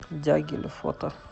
дягиль фото